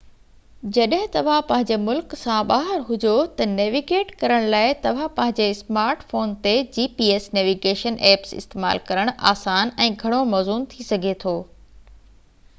جڏهن توهان پنهنجي ملڪ سان ٻاهر هجو تہ نيويگيٽ ڪرڻ لاءِ توهان پنهنجي سمارٽ فون تي gps نيويگيشن ائپس استعمال ڪرڻ آسان ۽ گهڻو موزون ٿي سگهي ٿو